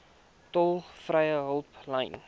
tolvrye hulplyn